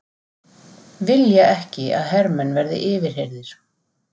Vilja ekki að hermenn verði yfirheyrðir